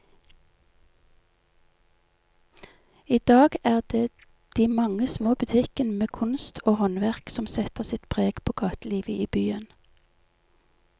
I dag er det de mange små butikkene med kunst og håndverk som setter sitt preg på gatelivet i byen.